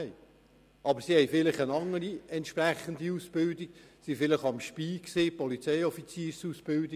Sie haben jedoch unter Umständen eine andere entsprechende Ausbildung absolviert, beispielsweise die Polizeioffiziersausbildung.